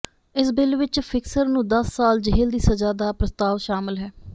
ਇਸ ਬਿੱਲ ਵਿਚ ਫਿਕਸਰ ਨੂੰ ਦਸ ਸਾਲ ਜੇਲ੍ਹ ਦੀ ਸਜ਼ਾ ਦਾ ਪ੍ਰਸਤਾਵ ਸ਼ਾਮਲ ਹੈ